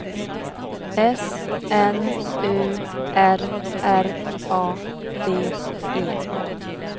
S N U R R A D E